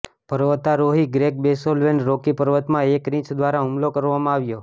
પર્વતારોહી Greg બોસવેલને Rocky પર્વતોમાં એક રીંછ દ્વારા હુમલો કરવામાં આવ્યો